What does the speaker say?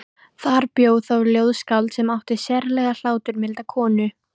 Þar bjó þá ljóðskáld sem átti sérlega hláturmilda konu.